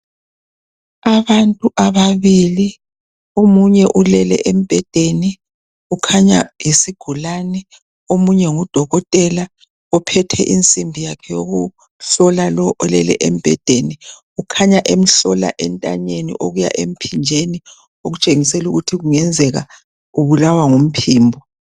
Abantu ababili omunye ulele embhedeni kukhanya yisigulane, omunye nguDokotela ophethe insimbi yakhe yokuhlola lo ulele embhedeni, kukhanya emhlola entanyeni okuya emphinjeni, okutshengisela kungenzeka ubulawa ngumphimbo.